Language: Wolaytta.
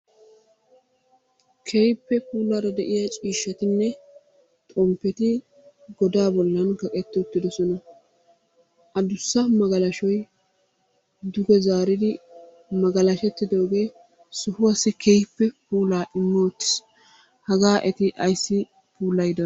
Keehippe puulaara de'iya ciishshatinne xomppeti godaa bollan kaqetti uttidosona. Adussa magalashoy duge zaariri magalashettidoogee sohuwassi keehippe puulaa immi uttiis. Hagaa eti ayssi puulayidonaa?